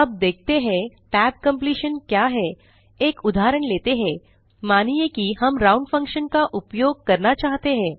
अब देखते हैं tab completion क्या है एक उदाहरण लेते हैं मानिए कि हम राउंड फंक्शन का उपयोग करना चाहते हैं